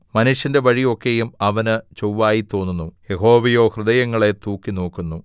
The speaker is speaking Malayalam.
മനുഷ്യന്റെ വഴി ഒക്കെയും അവന് ചൊവ്വായിത്തോന്നുന്നു യഹോവയോ ഹൃദയങ്ങളെ തൂക്കിനോക്കുന്നു